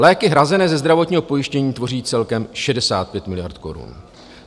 Léky hrazené ze zdravotního pojištění tvoří celkem 65 miliard korun.